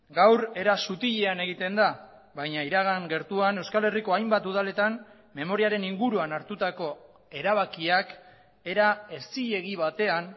gaur era sutilean egiten da baina iragan gertuan euskal herriko hainbat udaletan memoriaren inguruan hartutako erabakiak era ez zilegi batean